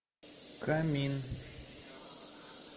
камин